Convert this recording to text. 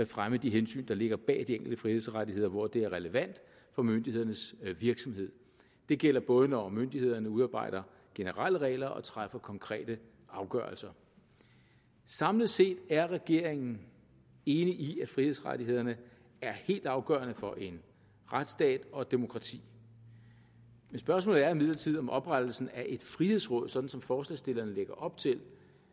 fremme de hensyn der ligger bag de enkelte frihedsrettigheder hvor det er relevant for myndighedernes virksomhed det gælder både når myndighederne udarbejder generelle regler og træffer konkrete afgørelser samlet set er regeringen enig i at frihedsrettighederne er helt afgørende for en retsstat og et demokrati men spørgsmålet er imidlertid om oprettelsen af et frihedsråd sådan som forslagsstillerne lægger op til